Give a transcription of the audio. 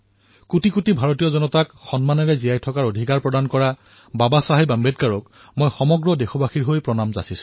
মই সকলো দেশবাসীৰ তৰফৰ পৰা বাবা চাহেবক সেৱা জনাইছো যিয়ে কোটি কোটি ভাৰতীয়ক জীৱনৰ অধিকাৰ প্ৰদান কৰিলে